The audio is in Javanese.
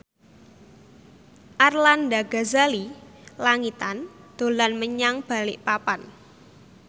Arlanda Ghazali Langitan dolan menyang Balikpapan